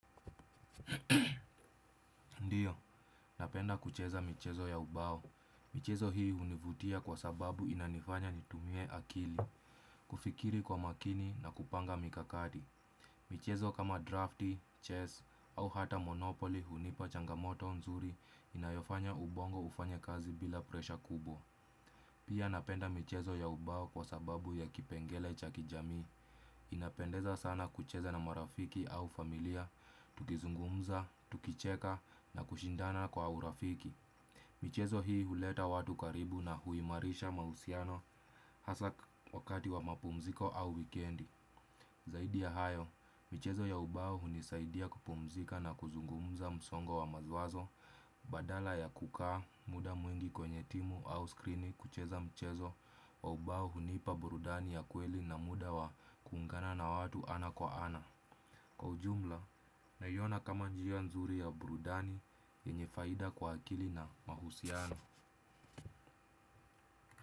Ndio, napenda kucheza michezo ya ubao. Michezo hii hunivutia kwa sababu inanifanya nitumie akili kufikiri kwa makini na kupanga mikakati. Michezo kama drafti, chess au hata monopoly hunipa changamoto nzuri inayofanya ubongo ufanye kazi bila presha kubwa. Pia napenda michezo ya ubao kwa sababu ya kipengele cha kijamii inapendeza sana kucheza na marafiki au familia. Tukizungumza, tukicheka na kushindana kwa urafiki. Michezo hii huleta watu karibu na huimarisha mahusiano hasa wakati wa mapumziko au wikendi. Zaidi ya hayo, michezo ya ubao hunisaidia kupumzika na kuzungumza msongo wa mawazo badala ya kukaa muda mwingi kwenye timu au skrini kucheza mchezo wa ubao hunipa burudani ya kweli na muda wa kuungana na watu ana kwa ana. Kwa ujumla, naiona kama njia nzuri ya burudani yenye faida kwa akili na mahusiano.